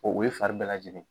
O o ye fari bɛɛ lajɛlen ye.